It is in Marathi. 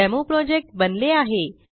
डेमोप्रोजेक्ट बनले आहे